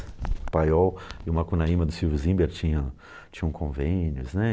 O Paiol e o Macunaíma do Silvio Zimmer tinha tinham convênios, né?